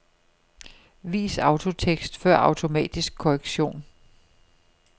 Vis autotekst før automatisk korrektion.